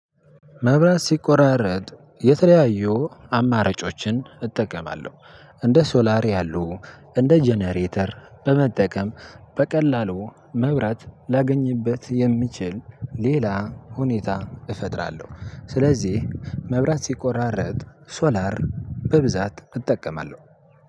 መብራት ሲቆራረጥ የተለያዩ አማራጮችን እጠቀማለሁ እንደ ሶላር ያሉ እንደ ጀነሬተር በመጠቀም በቀላሉ መብራት ላገኝበት የምችል ሌላ ሁኔታ እፈጥራለሁ። ስለዚህ መብራት ሲቆራረጥ ሶላር በብዛት እጠቀማለሁ።